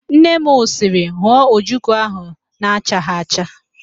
Nne m sịrị, hụọ ojoko ahụ na-achaghị acha!